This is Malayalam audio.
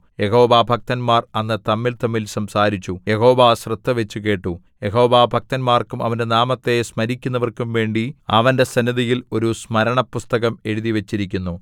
യഹോവാഭക്തന്മാർ അന്ന് തമ്മിൽതമ്മിൽ സംസാരിച്ചു യഹോവ ശ്രദ്ധവച്ചു കേട്ടു യഹോവാഭക്തന്മാർക്കും അവന്റെ നാമത്തെ സ്മരിക്കുന്നവർക്കും വേണ്ടി അവന്റെ സന്നിധിയിൽ ഒരു സ്മരണപുസ്തകം എഴുതിവച്ചിരിക്കുന്നു